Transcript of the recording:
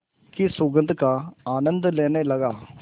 की सुगंध का आनंद लेने लगा